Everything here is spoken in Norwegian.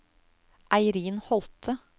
Eirin Holthe